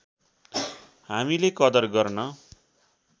हामीले कदर गर्न